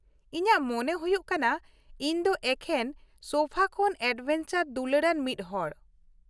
ᱤᱧᱟᱹᱜ ᱢᱚᱱᱮ ᱦᱩᱭᱩᱜ ᱠᱟᱱᱟ ᱤᱧ ᱫᱚ ᱮᱠᱷᱮᱱ ᱥᱳᱯᱷᱟ ᱠᱷᱚᱱ ᱮᱰᱵᱷᱮᱧᱪᱟᱨ ᱫᱩᱞᱟᱹᱲᱟᱱ ᱢᱤᱫ ᱦᱚᱲ ᱾